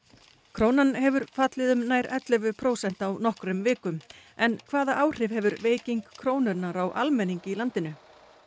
krónan hefur fallið um nær ellefu prósent á nokkrum vikum en hvaða áhrif hefur veiking krónunnar á almenning í landinu